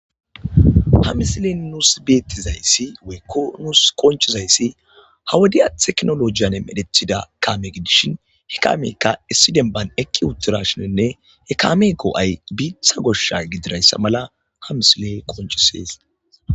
Ha misile nuus beettizayssi weykko nuus qonchizayssi hawodiya teknolojiyan medethida kaame gidishin he kaameykka issidenban ekki uttirashinenne he kaame koo'ay biitha goshsha gidirayssa mala ha misile qonchisees.